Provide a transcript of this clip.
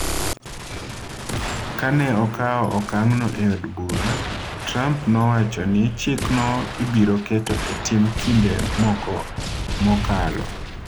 Ka ne okawo okang’no e od bura, Trump nowacho ni chikno ibiro keto e tim kinde moko mokalo.